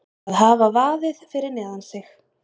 Að hafa vaðið fyrir neðan sig